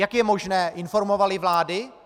Jak je možné - informovaly vlády?